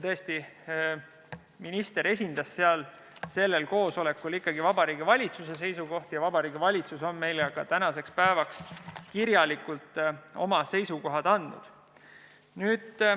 Tõesti, minister esindas sellel koosolekul ikkagi Vabariigi Valitsuse seisukohti ja Vabariigi Valitsus on meile tänaseks päevaks kirjalikult oma seisukohad andnud.